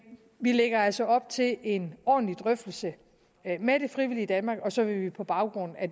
vi lægger altså op til en ordentlig drøftelse med det frivillige danmark og så vil vi på baggrund af